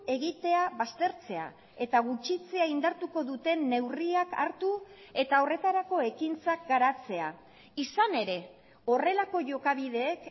egitea baztertzea eta gutxitzea indartuko duten neurriak hartu eta horretarako ekintzak garatzea izan ere horrelako jokabideek